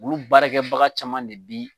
Ou baarakɛbaga caman de bi.